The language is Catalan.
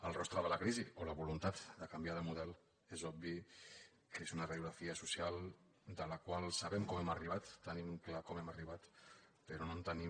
el rostre de la crisi o la voluntat de canviar de model és obvi que és una radi·ografia social de la qual sabem com hi hem arribat te·nim clar com hi hem arribat però no en tenim